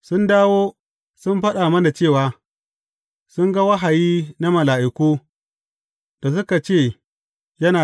Sun dawo sun faɗa mana cewa, sun ga wahayi na mala’iku, da suka ce yana da rai.